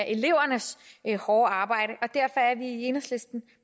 elevernes hårde arbejde derfor er vi i enhedslisten